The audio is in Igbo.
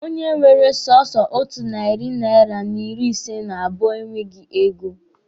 Onye nwere sọsọ otu narị naira n'ịrị ise n'abụọ e nweghi ego.